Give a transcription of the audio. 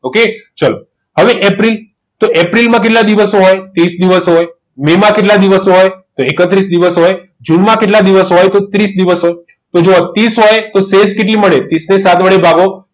okay તો ચલો હવે એપ્રિલ એપ્રિલમાં કેટલા દિવસ હોય ત્રીસ દિવસ હોય એમાં કેટલા દિવસ હોય તો એકત્રીસ દિવસ હોય જેલમાં કેટલા દિવસ હોય ત્રીસ દિવસ હોય તો ત્રીસ હોય તો સેશ કેટલી મળે ત્રીસ ને સાત વડે ભાગો